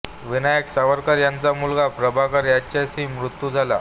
विनायक सावरकर यांचा मुलगा प्रभाकर याचाही मृत्यू झाला